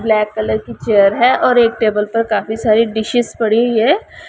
Black colour की chair है और एक टेबल पर काफी सारी डिशेज पड़ी हुई है।